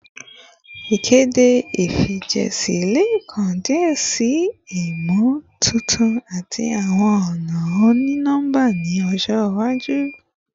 Ikede ifijiṣẹ le kan diẹ sii imotuntun ati awọn ọna oni-nọmba ni ọjọ iwaju